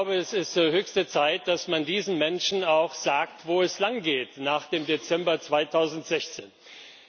Es ist höchste Zeit, dass man diesen Menschen auch sagt, wo es nach dem Dezember 2016 langgeht.